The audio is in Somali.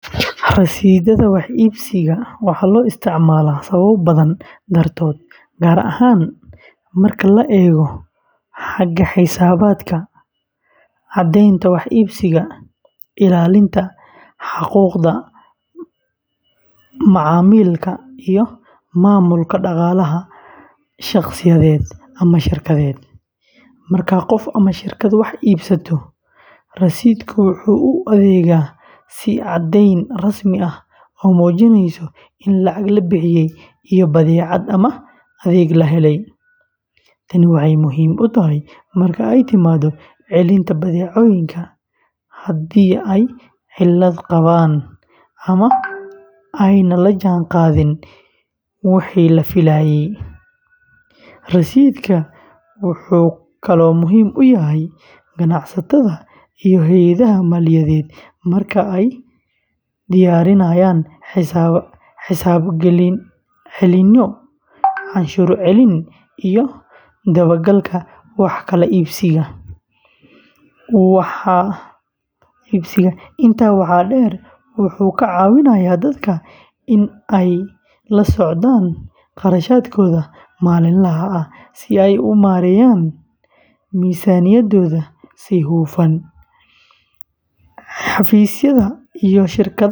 Rasiidhada wax iibsiga waxaa loo isticmaalaa sababo badan dartood, gaar ahaan marka la eego xagga xisaabaadka, caddaynta wax iibsiga, ilaalinta xuquuqda macaamilka, iyo maamulka dhaqaalaha shaqsiyeed ama shirkadeed. Marka qof ama shirkad wax iibsato, rasiidhku wuxuu u adeegaa sidii caddayn rasmi ah oo muujinaysa in lacag la bixiyey iyo badeecad ama adeeg la helay. Tani waxay muhiim u tahay marka ay timaado celinta badeecooyinka, haddii ay cilad qabaan ama aanay la jaanqaadin wixii la filayey. Rasiidhka wuxuu kaloo muhiim u yahay ganacsatada iyo hay’adaha maaliyadeed marka ay diyaarinayaan xisaab celinyo, canshuur celin, iyo dabagalka wax kala iibsiga. Intaa waxaa dheer, wuxuu ka caawiyaa dadka in ay la socdaan kharashkooda maalinlaha ah si ay u maareeyaan miisaaniyaddooda si hufan. Xafiisyada iyo shirkadaha.